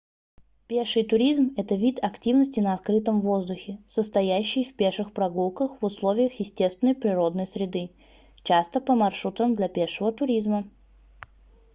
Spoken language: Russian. пеший туризм это вид активности на открытом воздухе состоящий в пеших прогулках в условиях естественной природной среды часто по маршрутам для пешего туризма